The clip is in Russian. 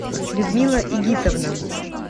людмила игитовна